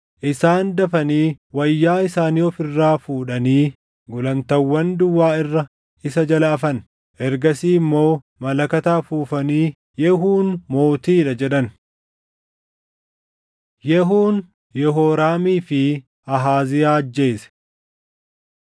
Isaan dafanii wayyaa isaanii of irraa fuudhanii gulantaawwan duwwaa irra isa jala afan. Ergasii immoo malakata afuufanii, “Yehuun mootii dha!” jedhan. Yehuun Yehooraamii fi Ahaaziyaa Ajjeese 9:21‑29 kwf – 2Sn 22:7‑9